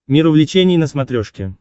мир увлечений на смотрешке